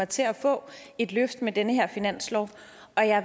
til at få et løft med den her finanslov